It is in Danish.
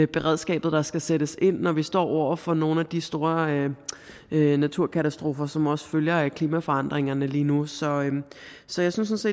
beredskabet der skal sættes ind når vi står over for nogle af de store naturkatastrofer som også følger af klimaforandringerne lige nu så så jeg synes